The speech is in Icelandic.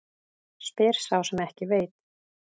Spyr sá sem ekki veit.